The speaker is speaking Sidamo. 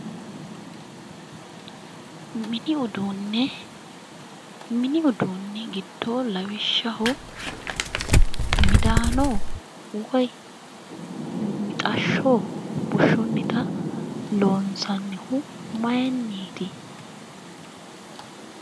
Mini uduune, mini uduune yineemmori giddo lawishshaho midano woyi mixasho bushunitta loonsannihu maayiniti ?